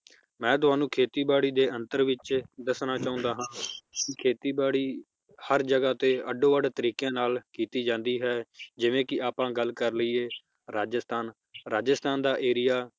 ਮੈ ਤੁਹਾਨੂੰ ਖੇਤੀ ਬਾੜੀ ਦੇ ਅੰਤਰ ਵਿਚ ਦੱਸਣਾ ਚਾਹੁੰਦਾ ਹਾਂ ਖੇਤੀ ਬਾੜੀ ਹਰ ਜਗਾਹ ਤੇ ਅੱਡੋ ਵੱਡ ਤਰੀਕੇਆਂ ਨਾਲ ਕੀਤੀ ਜਾਂਦੀ ਹੈ ਜਿਵੇ ਕਿ ਆਪਾਂ ਗੱਲ ਕਰ ਲਇਏ ਰਾਜਸਥਾਨ ਰਾਜਸਥਾਨ ਦਾ area